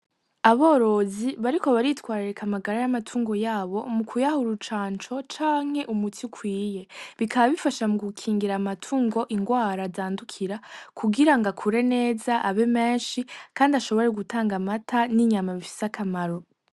Aborozi bariko baritwararika amagara y'amatungo yabo, mu kuyaha urucanco canke umuti ukwiye. Bikaba bifasha mu gukingira amatungo indwara zandukira, kugira ngo akure neza, abe menshi, kandi ashobore gutanga amata n'inyama bifise akamaro.